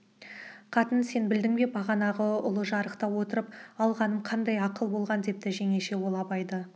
қатын сен білдің бе бағана ұлыжарықта отырып алғаным қандай ақыл болған депті жеңеше ол абайды